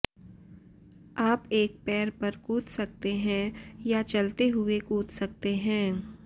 आप एक पैर पर कूद सकते हैं या चलते हुए कूद सकते हैं